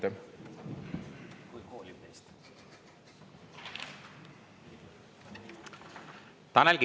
Tanel Kiik, palun!